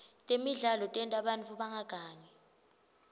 temidlalo tenta bantfu bangagangi